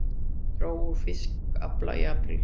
Dró úr fiskafla í apríl